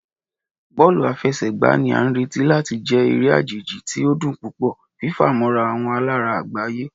Bọọlu afẹsẹgba ni a nireti lati jẹ ere ajeji ti o dun pupọ, fifamọra awọn alara agbaye.